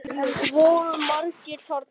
Voru margir þarna?